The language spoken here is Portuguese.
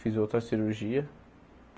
Fiz outra cirurgia.